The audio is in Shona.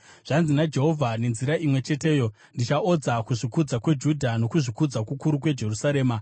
“Zvanzi naJehovha: ‘Nenzira imwe cheteyo ndichaodza kuzvikudza kweJudha nokuzvikudza kukuru kweJerusarema.